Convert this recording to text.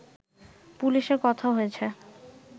পুলিশের কথা হয়েছে